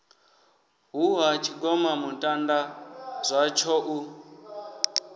hu ha tshigomamutanda zwatsho u